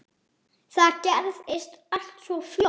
Það gerðist allt svo fljótt.